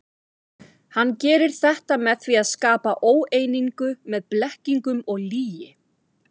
Hann gerir þetta með því að skapa óeiningu með blekkingum og lygi.